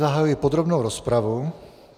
Zahajuji podrobnou rozpravu.